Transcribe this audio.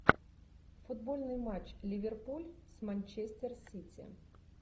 футбольный матч ливерпуль с манчестер сити